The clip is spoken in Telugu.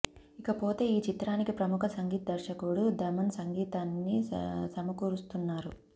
ఇకపోతే ఈ చిత్రానికి ప్రముఖ సంగీత్ దర్శకుడు థమన్ సంగీతాన్ని సమకూరుస్తున్నారు